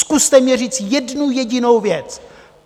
Zkuste mně říct jednu jedinou věc.